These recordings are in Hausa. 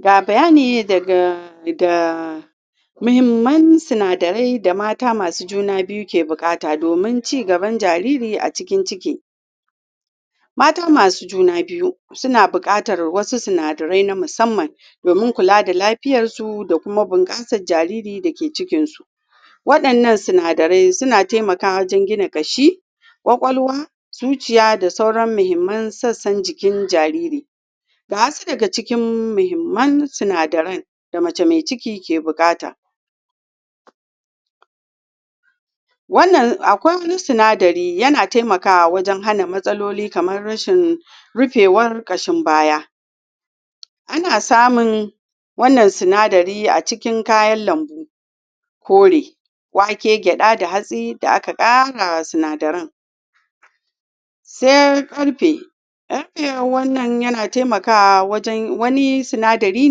ga bayani daga da muhimmai sinadirai da mata masu juna biyu ke bukata domin cin gaban jariri a cikin ciki mata masu juna biyu suna bukatar wasu sunadirai na musamman domin kula da lafiyar su da kuma bunkasan jaririn da ke cikin su wadannan sinadirai suna taimkawa wajen gina kashi kwakwaluwa, zuciya da sauran muhimman sassan jikin jariri ga wasu daga cikin muhimman sinadiran da mace mai ciki ke bukata wannan akwai wani sinadiri ya na taimakawa wajen hana matsaloli kamar rashin rifewar kashin baya ana samun wannan sinadiri a cikin kayan lambu ƙore, wake gyada da hatsi da aka kara wa sinadiran sai karfe, karfe wannan yana taimakawa wajen wani sinadiri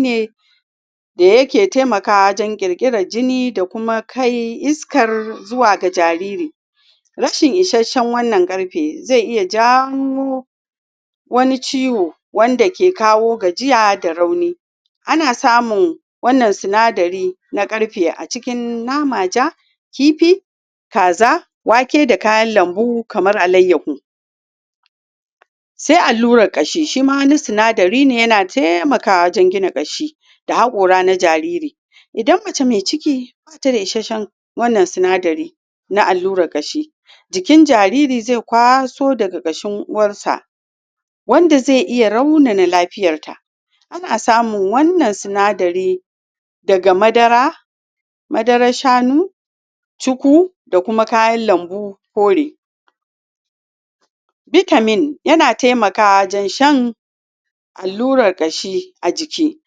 ne da yake taimakawa wajen kirkiran jini da kuma kai iska zuwa ga jariri rashin isashen wannan karfe zai iya jawo wani ciwo wande ke kawo gajiya da rauni ana samu wannan sinadiri na karfe a cikin nama ja kifi, kaza, wake da kayan lambu kamar alaiyahu sai alurar kashi shi wa wani sinadiri ne yana taimakawa wajen kashi da hakora na jariri idanmace mai ciki bata da isashen wannan sinadiri na alurar kashi jikin jariri zai kwaso daga kashin uwarsa wanda zai iya raunini lafiyar ta ana samu wannan sinadiri madara, madarar shanu cuku da kuma kayan lambu kore vitamin ya na taimakawa wajen shan aluran kashi alurar kashi a jiki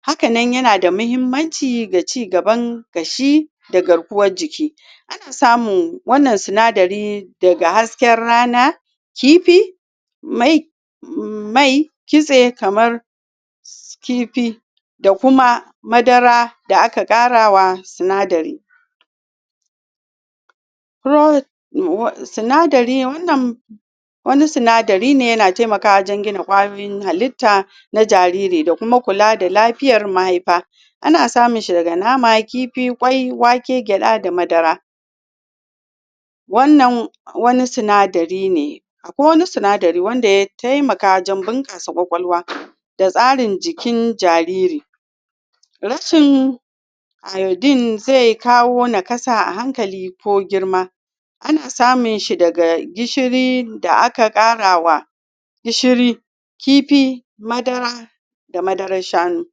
hakannan ya na da muhimmancin da ci gaban kashi da garkuwan jiki ana samu wannan sinadiri daga hasken rana kifi mai, kitse kamar kifi da kuma madara da aka kara wa sinadiri sinadiri wannan wani sinadiri ne yana taimaka wajen gina kwayoyin halitta na da kuma kula da lafiyar mahaifa ana samun shi daga nama, kifi, kwai, wake, gyada da madara wannan wani sinadiri ne akwai wani sinadiri wanda ya taimaka wajen bunkasa kwakwaluwa datsarin jikin jariri rashin iodine zai kawo nakasa a hankali ko girma anasamun shi da gishiri da aka kara wa gishiri, kifi, madara da madarar shanu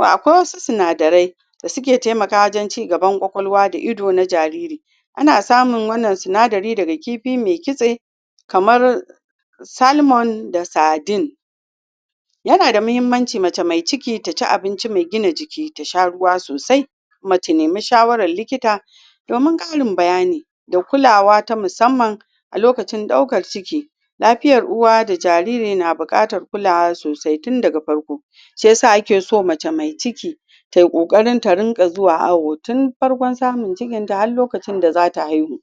akwai wasu sinadirai da suke taimakawa wajen cigaban kwakwaluwa da ido na jariri ana samu wannan sindari daga kifi mai kitse kamar salmon da sardine yana da muhimmanci mace mai ciki ta ci abinci mai gina jiki ta sha ruwa sosai kuma ta nemi shawarar likita dominkarin bayani da kulawa ta musamman a lokacin daukar ciki lafiyar uwa da jariri na bukata kulawa sosai tin daga farko shi ysa ake so mace mai ciki ta yi kokari ta dinga zuwa awo tin farkon samun cikin ta har lokacin da zata haihu